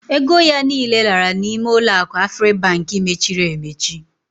Ego ya niile lara n'ime uloaku Afribank mechiri emechi.